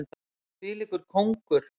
Þvílíkur kóngur!